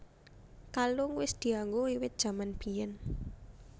Kalung wis dianggo wiwit jaman biyén